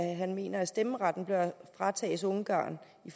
at han mener at stemmeretten bør fratages ungarn i